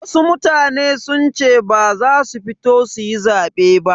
Wasu mutane sun ce ba za su fito suyi zabe ba.